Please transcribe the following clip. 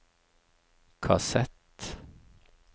kassett